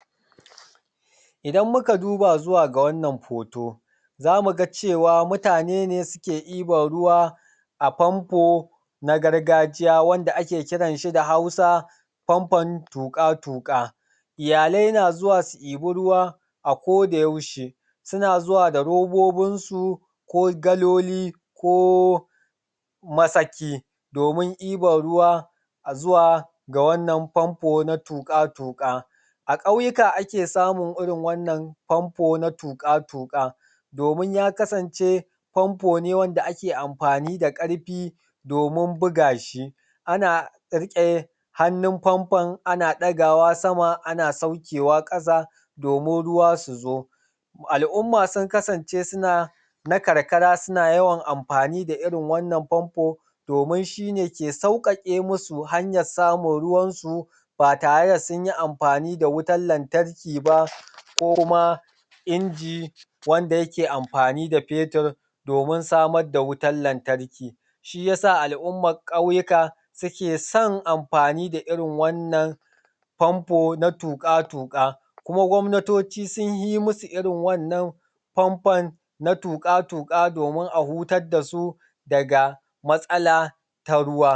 Idan muka duba ga wannan foto za mu ga cewa mutane ne suke ɗiban ruwa a famfo na gargajiya, wanda ake kiran shi da Hausa fanfon tuƙa-tuƙa iyalai na zuwa su ɗiban ruwa kodayaushe, suna zuwa da robobinsu ko galoli ko masaki domin ɗiban ruwa zuwa da wannan famfo. A ƙauyuka ake samun irin wannan famfo na tuƙa-tuƙa domin ya kasan famfo da ake anfani da su domin buga shi, ana riƙe hannun famfon sama ana buga shi domin ruwa su zo. Al'umma suna na karkara suna yawan ansafa domin shi ne ke sauƙaƙe su hanyar samun ruwansu ba tare da sun yi anfani da wutan lantarki ba ko kuma inji wanda dole sai an sa fetur domin samar da wutan lantarki. Shi ya sa al'ummar ƙauyuka suke son anfani da irin wannan na tuƙa-tuƙa kuma gwamnatocin sun fi musu irin wannan fanfon na tuƙa-tuƙa don a hutar da su ne matsala ta ruwa.